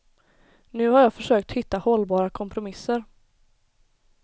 Nu har jag försökt hitta hållbara kompromisser.